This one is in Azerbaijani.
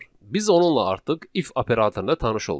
Biz onunla artıq if operatorunda tanış olduq.